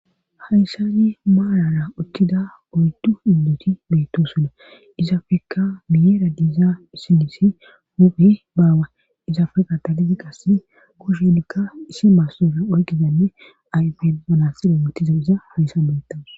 Hayssazi maarara ukkida oytu indoti beetto suna izafeka miyera diiza isinisi huphe baawa izafe katalizi qasse koshe likka issi maassora oyqizanne ayfe banasiro motiza iza hayssa beyettaa.